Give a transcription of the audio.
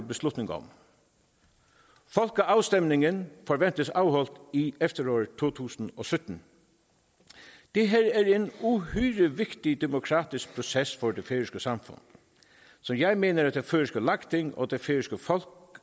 beslutning om folkeafstemningen forventes afholdt i efteråret to tusind og sytten det her er en uhyre vigtig demokratisk proces for det færøske samfund så jeg mener at det færøske lagting og det færøske folk